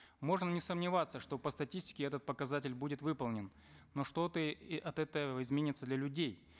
можем не сомневаться что по статистике этот показатель будет выполнен но что то от этого изменится для людей